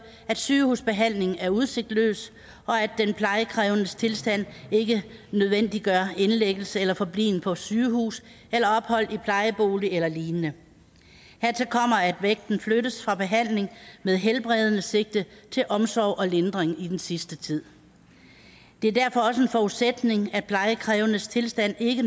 at sygehusbehandling er udsigtsløs og at den plejekrævendes tilstand ikke nødvendiggør indlæggelse eller forbliven på sygehus eller ophold i plejebolig eller lignende hertil kommer at vægten flyttes fra behandling med helbredende sigte til omsorg og lindring i den sidste tid det er derfor også en forudsætning at den plejekrævendes tilstand ikke